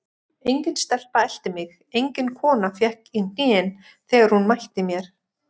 Engin stelpa elti mig, engin kona fékk í hnén þegar hún mætti mér.